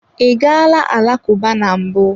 I gaala alakụba na mbụ?